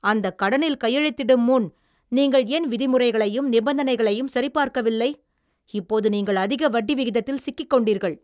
அந்தக் கடனில் கையெழுத்திடும் முன் நீங்கள் ஏன் விதிமுறைகளையும் நிபந்தனைகளையும் சரிபார்க்கவில்லை? இப்போது நீங்கள் அதிக வட்டி விகிதத்தில் சிக்கிக்கொண்டீர்கள்.